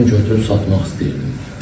Mən götürüb satmaq istəyirdim.